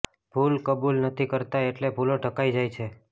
ભૂલ કબૂલ નથી કરતા એટલે ભૂલો ઢંકાઈ જાય છે